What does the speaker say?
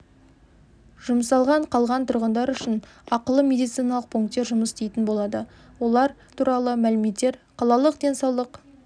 жұмсалған қалған тұрғындар үшін ақылы медициналық пункттер жұмыс істейтін болады олар туралы мәліметтер қалалық денсаулық